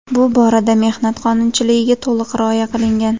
Bu borada mehnat qonunchiligiga to‘liq rioya qilingan.